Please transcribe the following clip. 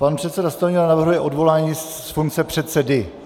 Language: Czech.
Pan předseda Stanjura navrhuje odvolání z funkce předsedy.